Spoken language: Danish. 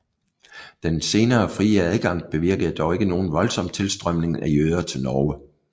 Den senere frie adgang bevirkede dog ikke nogen voldsom tilstrømning af jøder til Norge